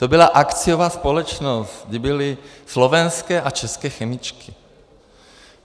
To byla akciová společnost, kde byly slovenské a české chemičky.